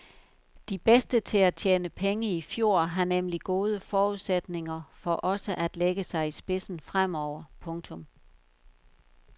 De bedste til at tjene penge i fjor har nemlig gode forudsætninger for også at lægge sig i spidsen fremover. punktum